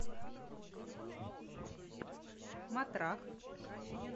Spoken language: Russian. матрах